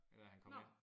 Dér da han kom ind